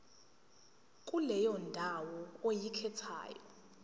kuleyo ndawo oyikhethayo